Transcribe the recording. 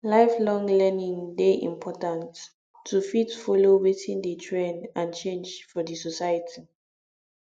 lifelong learning de important to fit follow wetin de trend and change for di society